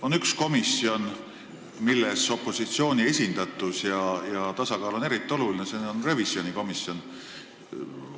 On üks komisjon, kus opositsiooni esindatus ja üldse tasakaal on eriti oluline, see on revisjonikomisjon.